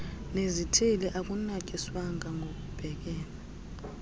nezithili akunatyiswanga ngokubhekele